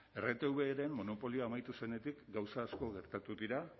rtveren monopolioa amaitu zenetik gauza asko gertatu dira